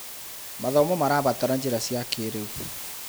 Mathomo marabataraga njĩra cia kĩrĩu.